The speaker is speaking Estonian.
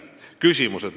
Nüüd küsimused.